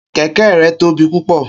Keke rẹ tobi pupọ